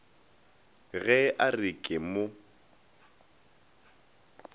ge a re ke mo